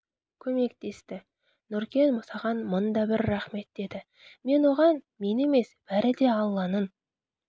көмектесті нұркен саған мың да бір рахмет деді мен оған мен емес бәрі де алланың